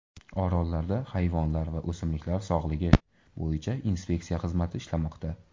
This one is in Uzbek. Orollarda hayvonlar va o‘smliklar sog‘lig‘i bo‘yicha inspeksiya xizmati ishlamoqda.